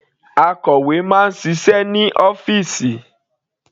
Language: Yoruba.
Akọ̀wé máa ń ṣiṣẹ́ ní ọ́fìsì.